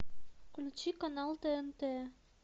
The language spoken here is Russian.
включи канал тнт